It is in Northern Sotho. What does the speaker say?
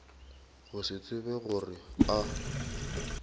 go se tsebe gore a